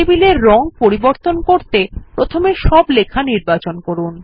টেবিলের রং পরিবর্তন করতে প্রথমে সব লেখা নির্বাচন করুন